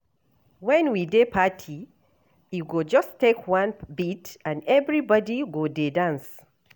Wen we dey party, e go just take one beat, and everybody go dey dance.